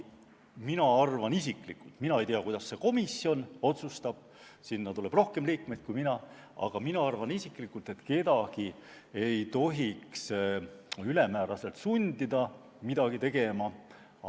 Mina arvan isiklikult – ma ei tea, kuidas see komisjon otsustab, sinna tuleb ju rohkem liikmeid –, aga mina arvan isiklikult, et kedagi ei tohiks ülemääraselt sundida midagi tegema.